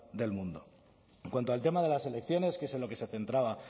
del mundo en cuanto al tema de las elecciones que es en lo que se centraba